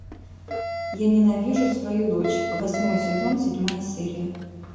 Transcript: я ненавижу свою дочь восьмой сезон седьмая серия